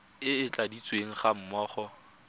e e tladitsweng ga mmogo